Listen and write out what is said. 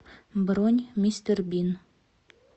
бронь мистер бин